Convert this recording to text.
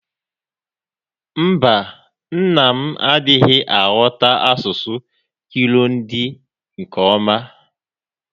Mba, nna m adịghị aghọta asụsụ Kirundi nke ọma.